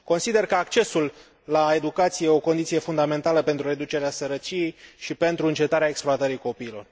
Consider că accesul la educație este o condiție fundamentală pentru reducerea sărăciei și pentru încetarea exploatării copiilor.